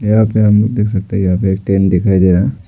यहां पे हम देख सकते हैं यहां पे एक टेंट दिखाई दे रहा है।